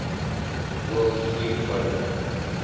world food programme